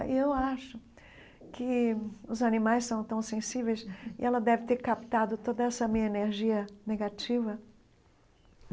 E eu acho que os animais são tão sensíveis e ela deve ter captado toda essa minha energia negativa.